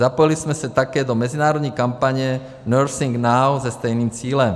Zapojili jsme se také do mezinárodní kampaně Nursing Now se stejným cílem.